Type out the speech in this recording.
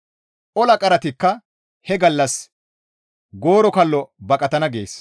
Ola qaratikka he gallas gooro kallo baqatana» gees.